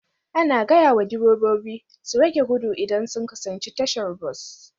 Ana gaya wa direbobi su rage gudu idan sun kusanci tashar bas